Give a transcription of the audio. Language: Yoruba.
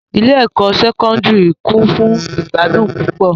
Ile-ẹkọ Sẹkọndiri kun fun igbadun pupọ